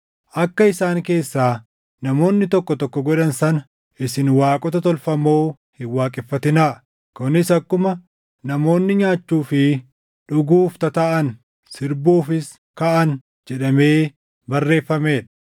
Akka isaan keessaa namoonni tokko tokko godhan sana isin waaqota tolfamoo hin waaqeffatinaa; kunis akkuma, “Namoonni nyaachuu fi dhuguuf tataaʼan; sirbuufis kaʼan” + 10:7 \+xt Bau 32:6\+xt* jedhamee barreeffamee dha.